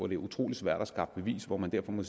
det utrolig svært at skaffe beviser og derfor må